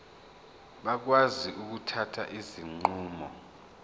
bakwazi ukuthatha izinqumo